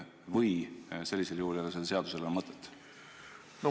Või ei ole sellel seadusel sellisel juhul enam mõtet?